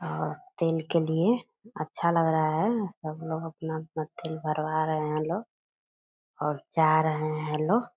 आआ तेल के लिए अच्छा लग रहा है सब लोग अपना-अपना तेल भरवा रहे है लोग और जा रहे है लोग ।